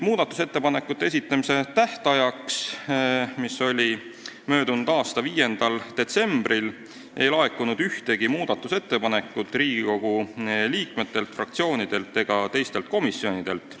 Muudatusettepanekute esitamise tähtajaks, mis oli möödunud aasta 5. detsembril, ei laekunud ühtegi muudatusettepanekut Riigikogu liikmetelt, fraktsioonidelt ega teistelt komisjonidelt.